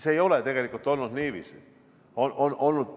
See ei ole tegelikult alati niiviisi läinud.